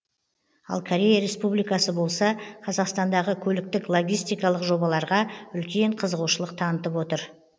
ал корея республикасы болса қазақстандағы көліктік логистикалық жобаларға үлкен қызығушылық танытып отыр